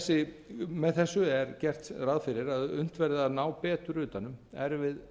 lánsveðsalar með þessu er gert ráð fyrir að unnt verði að ná betur utan um erfið